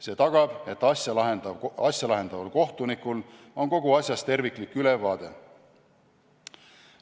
See tagab, et asja lahendaval kohtunikul on kogu asjast terviklik ülevaade.